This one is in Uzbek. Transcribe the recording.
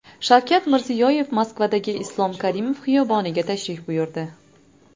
Shavkat Mirziyoyev Moskvadagi Islom Karimov xiyoboniga tashrif buyurdi .